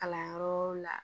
Kalanyɔrɔw la